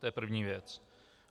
To je první věc.